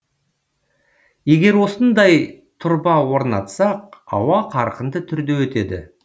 егер осындай тұрба орнатсақ ауа қарқынды түрде өтеді